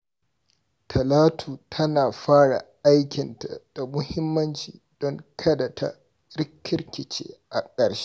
Talatu takan fara aikinta da muhimmanci don kada ta rikirkice a ƙarshe.